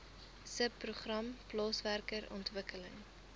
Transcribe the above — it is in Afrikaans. subprogram plaaswerker ontwikkeling